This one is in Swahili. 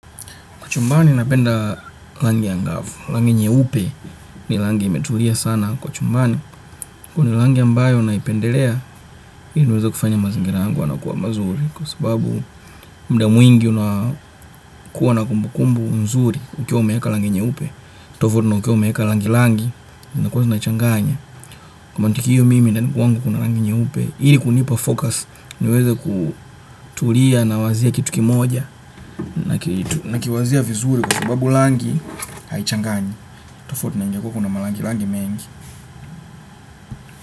Kwa chumbani napenda rangi angavu, rangi nyeupe ni rangi imetulia sana kwa chumbani. Kwani langi ambayo naipendelea, ili niweza kufanya mazingira yangu wana kuwa mazuri. Kwa sababu mda mwingi unakuwa na kumbukumbu nzuri ukiwa umeeka langi nyeupe. Tofutu na ukiwa umeeka langi langi, zinkua zinachanganya. Kwa matikiyo mimi ndani kwangu kuna langi nyeupe, ili kunipa focus niweza kutulia na wazia kitu kimoja. Nakiwazia vizuri kwa sababu langi Haichangani. Tofautu na ingekua kuna malangi langi mengi.